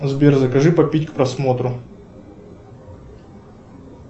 сбер закажи попить к просмотру